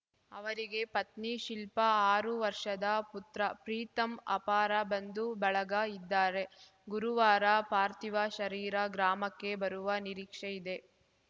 ಅವರಿಗೆ ಪತ್ನಿ ಶಿಲ್ಪಾ ಆರು ವರ್ಷದ ಪುತ್ರ ಪ್ರೀತಮ್‌ ಅಪಾರ ಬಂಧು ಬಳಗ ಇದ್ದಾರೆ ಗುರುವಾರ ಪಾರ್ಥಿವ ಶರೀರ ಗ್ರಾಮಕ್ಕೆ ಬರುವ ನಿರೀಕ್ಷೆ ಇದೆ